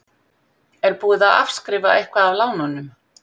Er búið að afskrifa eitthvað af lánunum?